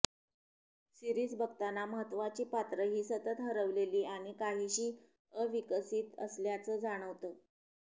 series बघताना महत्त्वाची पात्र ही सतत हरवलेली आणि काहीशी अविकसित असल्याचं जाणवतं